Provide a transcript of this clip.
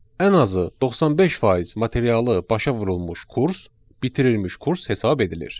Ən azı 95% materialı başa vurulmuş kurs bitirilmiş kurs hesab edilir.